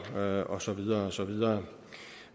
og og så videre og så videre